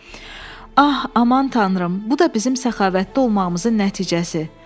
Ah, aman tanrım, bu da bizim səxavətli olmağımızın nəticəsi.